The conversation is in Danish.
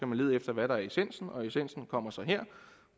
man lede efter hvad der er essensen og essensen kommer så her